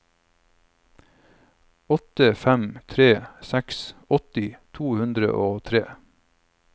åtte fem tre seks åtti to hundre og tre